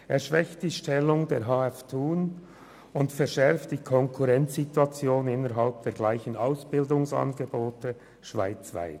Sie schwächt die Stellung der Hotelfachschule Thun und verschärft die Konkurrenzsituation innerhalb der gleichen Ausbildungsangebote schweizweit.